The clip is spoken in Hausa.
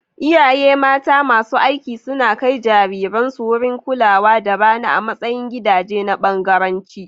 Iyaye mata masu aiki suna kai jariransu wurin kulawa da rana a matsayin gidaje na bangaranci.